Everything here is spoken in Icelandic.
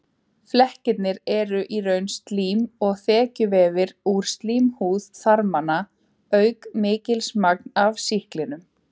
Flekkirnir eru í raun slím og þekjuvefur úr slímhúð þarmanna auk mikils magns af sýklinum.